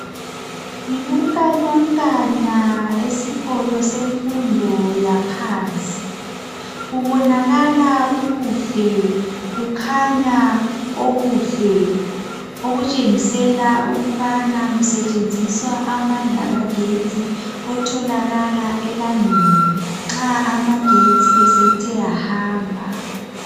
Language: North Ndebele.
Yibunkanyankanya esikolo semfundo yaphansi, kubonakala kukuhle, kukhanya okuhle okutshengisela ukubana kusetshenziswa amandla kagetsi otholakala elangeni nxa amagetsi esethe ahamba